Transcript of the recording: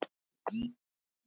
Hann var voða góður.